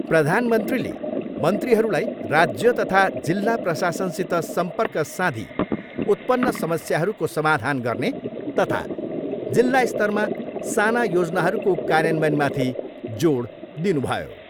प्रधानमन्त्रीले मन्त्रीहरूलाई राज्य तथा जिल्ला प्रशासनसित सम्पर्क साँधी उत्पन्न समस्यहरूको सामाधान गर्ने तथा जिल्ला स्तरमा साना योजनाहरूको कार्यान्वयनमाथि जोड दिनुभयो।